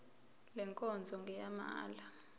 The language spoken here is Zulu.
le nkonzo ngeyamahala